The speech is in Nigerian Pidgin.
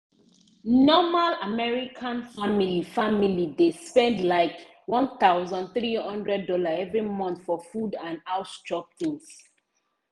normal american family family dey spend likeone thousand three hundred dollarsevery month for food and house chop things